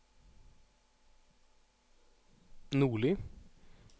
Nordli